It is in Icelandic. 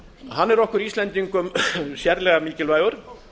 hann er okkur íslendingum sérlega mikilvægur